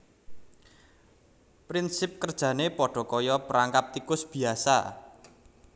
Prinsip kerjané padha kaya perangkap tikus biyasa